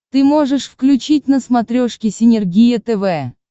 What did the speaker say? ты можешь включить на смотрешке синергия тв